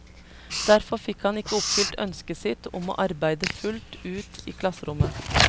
Derfor fikk han ikke oppfylt ønsket sitt om å arbeide fullt ut i klasserommet.